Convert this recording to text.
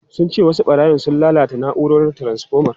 Sun ce wasu barayin sun lalata na’urar taransfoma.